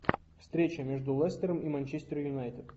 встреча между лестером и манчестер юнайтед